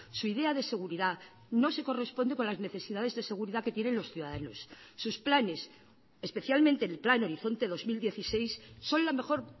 su idea de seguridad no se corresponde con las necesidades de seguridad que tienen los ciudadanos sus planes especialmente el plan horizonte dos mil dieciséis son la mejor